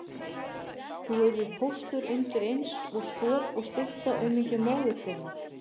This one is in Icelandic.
Þú yrðir póstur undir eins og stoð og stytta aumingja móður þinnar